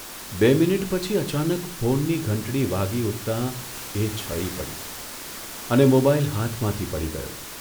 બે મિનિટ પછી અચાનક ફોનની ઘંટડી વાગી ઊઠતાં એ છળી પડી અને મોબાઇલ હાથમાંથી પડી ગયો.